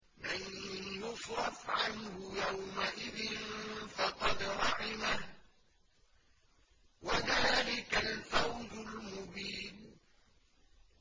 مَّن يُصْرَفْ عَنْهُ يَوْمَئِذٍ فَقَدْ رَحِمَهُ ۚ وَذَٰلِكَ الْفَوْزُ الْمُبِينُ